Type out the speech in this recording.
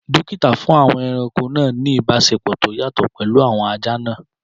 Dókítà fún àwọn ẹranko náà ní ìbáṣepọ̀ tó yàtọ̀ pẹ̀lú àwọn ajá náà